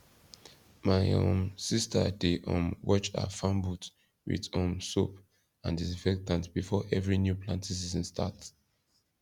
my um sister dey um watch her farm boot with um soap and disinfectant before every new planting season start